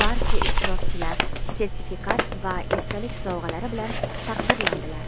barcha ishtirokchilar sertifikat va esdalik sovg‘alari bilan taqdirlandilar.